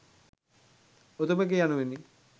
උතුමෙකි යනුවෙනි.